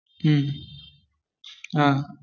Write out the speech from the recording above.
മഹ് ഹ.